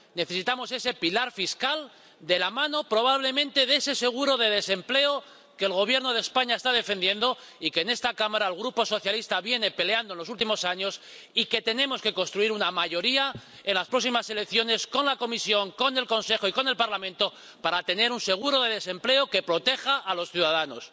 Necesitamos ese pilar fiscal de la mano, probablemente, de ese seguro de desempleo que el Gobierno de España está defendiendo y que en esta Cámara el Grupo socialista viene peleando en los últimos años, y tenemos que construir una mayoría en las próximas elecciones con la Comisión, con el Consejo y con el Parlamento, para tener un seguro de desempleo que proteja a los ciudadanos.